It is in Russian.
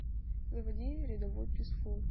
заводи рядовой писфул